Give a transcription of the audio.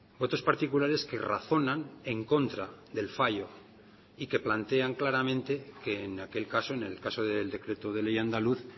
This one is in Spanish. votos particulares que razonan en contra del fallo y que plantean claramente que en aquel caso en el caso del decreto de ley andaluz